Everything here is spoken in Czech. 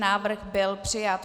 Návrh byl přijat.